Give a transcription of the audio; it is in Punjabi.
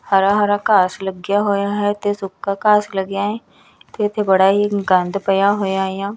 ਹਰਾ ਹਰਾ ਘਾਸ ਲੱਗਿਆ ਹੋਇਆ ਹੈ ਤੇ ਸੁੱਕਾ ਘਾਸ ਲੱਗਿਆ ਹੈ ਤੇ ਇੱਥੇ ਬੜਾ ਹੀ ਗੰਦ ਪਇਆ ਹੋਇਆ ਆ।